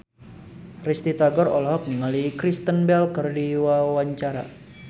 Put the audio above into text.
Risty Tagor olohok ningali Kristen Bell keur diwawancara